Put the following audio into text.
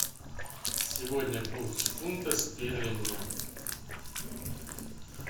сегодня курс фунта стерлинга